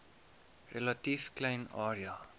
relatief klein area